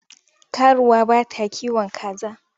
Karuwa bata kiwon kaza.